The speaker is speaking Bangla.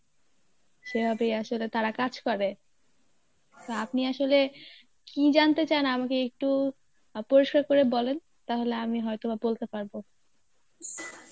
সেভাবেই আসলে তারা কাজ করে তো আপনি আসলে কী জানতে চান আমাকে একটু আহ পরিষ্কার করে বলেন, তাহলে আমি হয়তো বা বলতে পারবো.